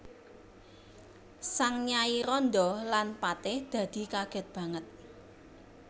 Sang nyai randha lan patih dadi kagèt banget